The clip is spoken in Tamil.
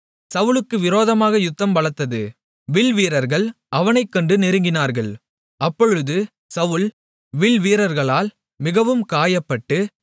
சவுலுக்கு விரோதமாக யுத்தம் பலத்தது வில்வீரர்கள் அவனைக் கண்டு நெருங்கினார்கள் அப்பொழுது சவுல் வில்வீரர்களால் மிகவும் காயப்பட்டு